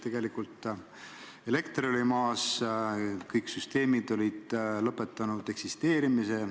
Tegelikult elekter oli maas, kõik süsteemid olid lakanud töötamast.